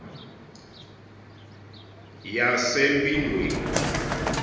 yasempindweni